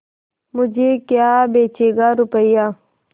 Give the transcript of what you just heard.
मुझे क्या बेचेगा रुपय्या